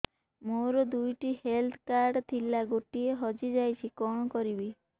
ମୋର ଦୁଇଟି health card ଥିଲା ଗୋଟିଏ ହଜି ଯାଇଛି କଣ କରିବି